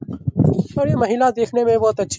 और ये महिला देखने में बहुत अच्छी --